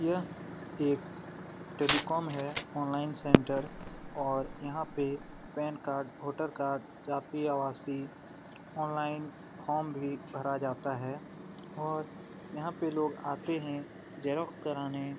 यह एक टेलीकॉम है ऑनलाइन सेंटर और यहाँ पे पैन कार्ड वोटर कार्ड जाती अवासी ऑनलाइन फॉर्म भी भरा जाता है और यहाँ पे लोग आते है ज़ेरॉक्स करने।